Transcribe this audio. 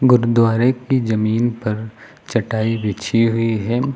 गुरुद्वारे की जमीन पर चटाई बिछी हुई है।